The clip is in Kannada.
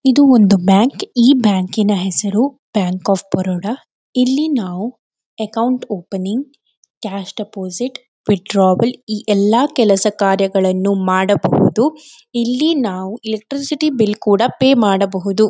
ಇದು ಒಂದು ಬ್ಯಾಂಕ್ ಈ ಬ್ಯಾಂಕಿನ ಹೆಸರು ಬ್ಯಾಂಕ್ ಆಫ್ ಬರೋಡ ಇಲ್ಲಿ ನಾವು account opening cash deposit withdrawal ಈ ಎಲ್ಲ ಕೆಲಸಕಾರ್ಯಗಳನ್ನು ಮಾಡಬಹುದು ಇಲ್ಲಿ ನಾವು ಎಲೆಕ್ಟ್ರಿಸಿಟಿ ಬಿಲ್ ಕೂಡ ಪೇ ಮಾಡಬಹುದು.